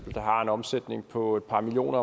der har en omsætning på et par millioner